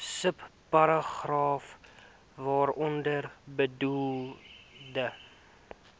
subparagraaf waaronder bedoelde